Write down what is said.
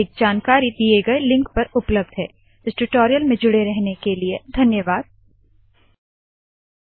अधिक जानकारी दिए गए लिंक पर उपलब्ध है httpspoken tutorialorgNMEICT Intro इस टूटोरियल में जुड़े रहने क लिए धन्यवाद नमस्कार